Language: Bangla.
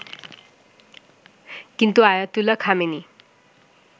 কিন্তু আয়াতুল্লাহ খামেনি